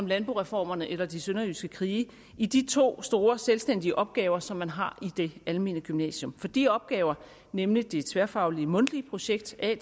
landboreformerne eller de sønderjyske krige i de to store selvstændige opgaver som man har i det almene gymnasium for de opgaver nemlig det tværfaglige mundtlige projekt at